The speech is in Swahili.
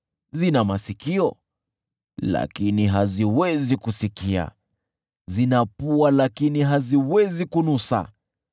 zina masikio, lakini haziwezi kusikia, zina pua, lakini haziwezi kunusa;